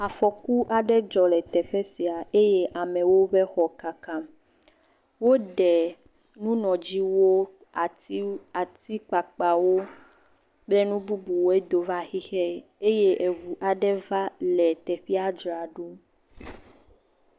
Afɔku aɖe dzɔ le teƒe sia eye amewo be xɔ kaka, woɖe nunɔdziwo, atikpakpawo kple nu bubuwoe do va xixe eye ŋu aɖe va le teƒea dzram ɖo.